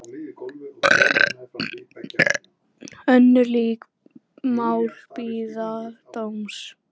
Önnur lík mál bíða dóms.